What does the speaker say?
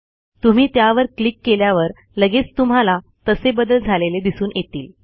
तुम्ही त्यावर क्लिक केल्यावर लगेच तुम्हाला तसे बदल झालेले दिसून येतील